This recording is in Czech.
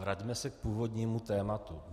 Vraťme se k původnímu tématu.